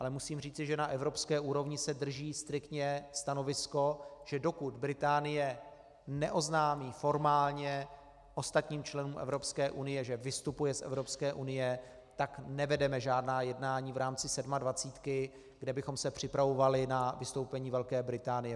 Ale musím říci, že na evropské úrovni se drží striktně stanovisko, že dokud Británie neoznámí formálně ostatním členům Evropské unie, že vystupuje z Evropské unie, tak nevedeme žádná jednání v rámci sedmadvacítky, kde bychom se připravovali na vystoupení Velké Británie.